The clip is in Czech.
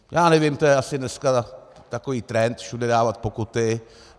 Já nevím, to je asi dneska takový trend všude dávat pokuty.